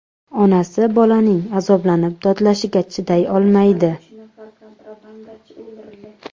Onasi bolaning azoblanib dodlashiga chiday olmaydi.